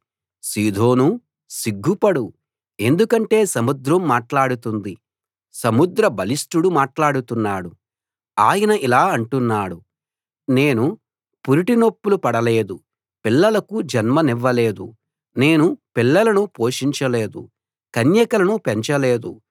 సీదోనూ సిగ్గుపడు ఎందుకంటే సముద్రం మాట్లాడుతుంది సముద్ర బలిష్టుడు మాట్లాడుతున్నాడు ఆయన ఇలా అంటున్నాడు నేను పురిటినొప్పులు పడలేదు పిల్లలకు జన్మనివ్వలేదు నేను పిల్లలను పోషించలేదు కన్యకలను పెంచలేదు